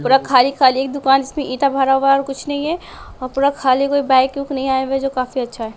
पूरा खाली-खाली एक दुकान जिसमें ईंटा भरा हुआ है और कुछ नहीं है और पूरा खाली कोई बाइक - वाइक नहीं आया हुआ है जो काफी अच्छा है।